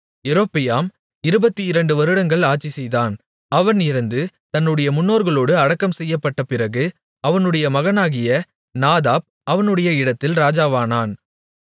யெரொபெயாம் 22 வருடங்கள் ஆட்சிசெய்தான் அவன் இறந்து தன்னுடைய முன்னோர்களோடு அடக்கம் செய்யப்பட்ட பிறகு அவனுடைய மகனாகிய நாதாப் அவனுடைய இடத்தில் ராஜாவானான்